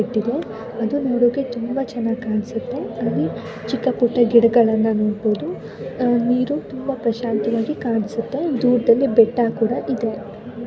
ಅದು ನೋಡಲು ತುಂಬಾ ಚೆನ್ನಾಗಿ ಕಾಣಿಸುತ್ತೆ ಇಲ್ಲಿ ಚಿಕ್ಕ ಪುಟ್ಟ ಗಿಡಗಳನ್ನು ನೋಡಬಹುದು ನೀರು ತುಂಬಾ ಪ್ರಶಾಂತವಾಗಿ ಕಾಣಿಸುತ್ತೆ ದೂರದಲ್ಲಿ ಬೆಟ್ಟ ಕೂಡ ಇದೆ.